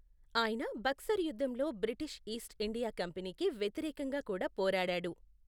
ఆయన బక్సర్ యుద్ధంలో British East India కంపెనీకి వ్యతిరేకంగా కూడా పోరాడాడు.